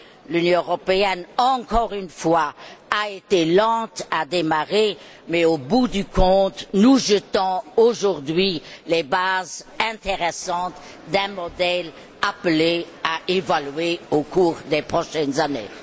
L'Union européenne, encore une fois, a été lente à démarrer mais, au bout du compte, nous jetons aujourd'hui les bases intéressantes d'un modèle appelé à évoluer au cours des prochaines années.